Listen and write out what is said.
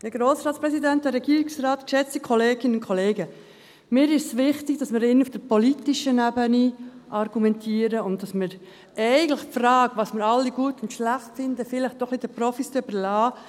Mir ist es wichtig, dass wir hier im Grossen Rat auf der politischen Ebene argumentieren und dass wir eigentlich die Frage, was wir alle gut und schlecht finden, vielleicht doch den Profis überlassen.